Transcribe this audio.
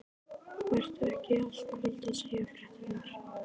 Vertu ekki í allt kvöld að segja fréttirnar.